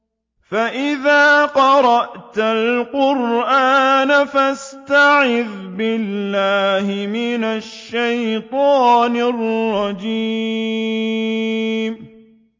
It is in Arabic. فَإِذَا قَرَأْتَ الْقُرْآنَ فَاسْتَعِذْ بِاللَّهِ مِنَ الشَّيْطَانِ الرَّجِيمِ